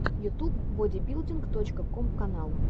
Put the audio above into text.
ютуб бодибилдинг точка ком канал